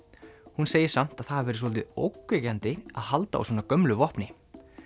hún segir samt að það hafi verið svolítið ógnvekjandi að halda á svona gömlu vopni